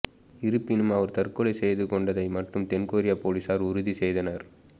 இருப்பினும் அவர் தற்கொலை செய்து கொண்டதை மட்டும் தென்கொரிய போலீசார் உறுதி செய்தனர்